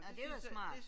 Nåh det var smart